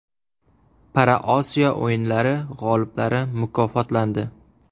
ParaOsiyo o‘yinlari g‘oliblari mukofotlandi.